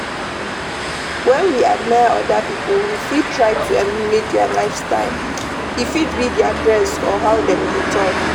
When we admire oda pipo, we fit try to emulate their lifestyle, e fit be their dress or how dem dey talk